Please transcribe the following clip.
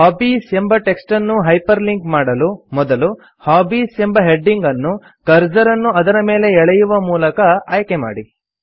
hobbies ಎಂಬ text ಅನ್ನು hyperlink ಮಾಡಲು ಮೊದಲು ಹಾಬೀಸ್ ಎಂಬ ಹೆಡಿಂಗ್ ಅನ್ನು ಕರ್ಸರ್ ಅನ್ನು ಅದರ ಮೇಲೆ ಎಳೆಯುವ ಮೂಲಕ ಆಯ್ಕೆ ಮಾಡಿ